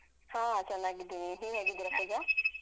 ಹಾ ಚೆನ್ನಾಗಿದ್ದೀನಿ ನೀವ್ ಹೇಗಿದ್ದೀರಾ ಪೂಜಾ?